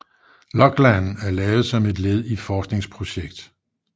Loglan er lavet som led i forskningprojekt